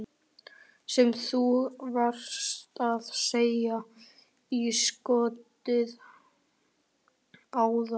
Sem þú varst að setja í skottið áðan?